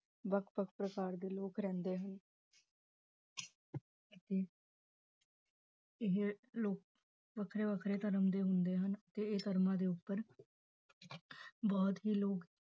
ਵੱਖ-ਵੱਖ ਪ੍ਰਕਾਰ ਦੇ ਲੋਕ ਰਹਿੰਦੇ ਹਨ ਇਹ ਲੋਕ ਵੱਖਰੇ ਵੱਖਰੇ ਧਰਮ ਦੇ ਹੁੰਦੇ ਹਨ, ਤੇ ਇਹ ਧਰਮਾਂ ਦੇ ਉੱਪਰ ਬਹੁਤ ਹੀ ਲੋਕ